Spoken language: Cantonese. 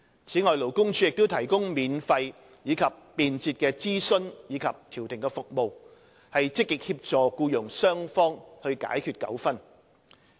此外，勞工處亦提供免費及便捷的諮詢及調停服務，積極協助僱傭雙方解決糾紛。